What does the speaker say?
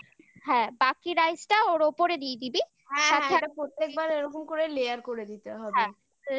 বাকি rice টা ওর ওপরে দিয়ে দিবি